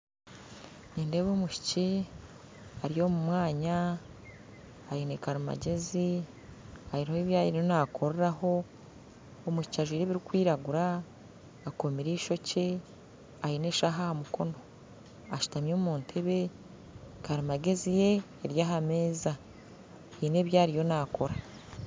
Nindeeba omwishiki ari omu mwanya aine karimangyezi aine abi ariho naakoreraho omwishikii ajwire ebirikwiraguura akoomire eishookye aine eshaaha aha mukono ashutami omu ntebe karimangyezi ye eri aha meeza haine abi ariyo naakora